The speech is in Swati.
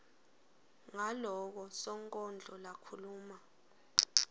ngaloko sonkondlo lakhuluma